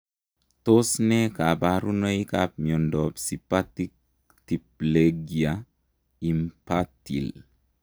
Tos ne kabarunoik ap miondoop sipatic tiplegia inpatile ?